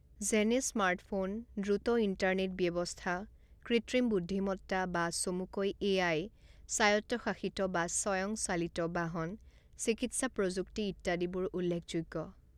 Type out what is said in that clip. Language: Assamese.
যেনে স্মাৰ্টফোন, দ্ৰুত ইণ্টাৰনেট ব্যৱস্থা, কৃত্ৰিম বুদ্ধিমত্তা বা চমুকৈ এ আই, স্বায়ত্বশাসিত বা স্বায়ংচালিত বাহন, চিকিৎসা প্ৰযুক্তি ইত্যাদিবোৰ উল্লেখযোগ্য